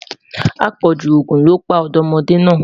apọju ogún ló pa ọdọmọde na